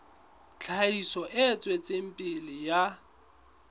tlhahiso e tswetseng pele ya